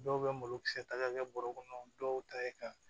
Dɔw bɛ malokisɛ ta ka kɛ bɔrɔ kɔnɔ dɔw ta ye ka